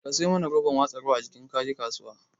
Ka sayo mana roban watsa ruwa a jiki idan kaje kasuwa